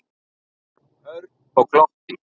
Örn og glotti.